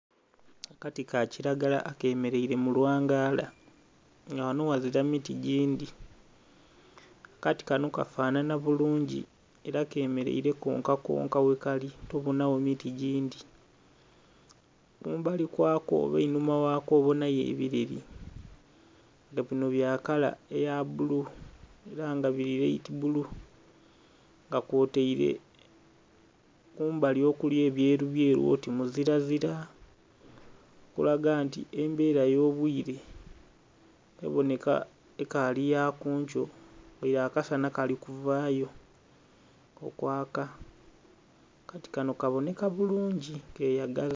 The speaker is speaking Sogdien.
Akati ka kilagala akemeleile mu lwangaala nga ghano ghazila miti gindhi. Akati kano kafanhanha bulungi ela kemeleile konkakonka ghekali tobonagho miti gindi. Kumbali kwako oba einhuma ghako obonayo ebileli nga bino bya kala eya bulu ela nga bili light bulu nga kwotaile kumbali okuli ebyerubyeru oti muzirazira okulaga nti embera y'obwiire eboneka ekaali ya kunkyo, ghale akasanha kali kuvaayo okwaka, akati kano kaboneka bulungi keyagaza.